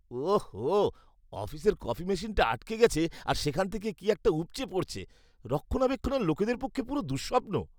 ওঃহো, অফিসের কফি মেশিনটা আটকে গেছে আর সেখান থেকে কি একটা উপচে পড়ছে। রক্ষণাবেক্ষণের লোকেদের পক্ষে পুরো দুঃস্বপ্ন!